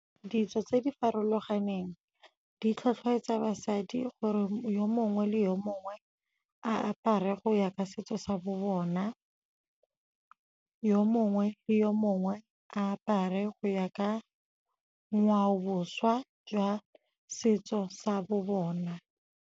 Ditso tse di farologaneng di tlhotlheletsa basadi gore yo mongwe le yo mongwe a apare go ya ka setso sa bo bona, yo mongwe le yo mongwe a apare go ya ka ngwaoboswa jwa setso sa bo bona.